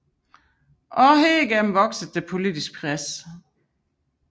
Også herigennem voksede det politiske pres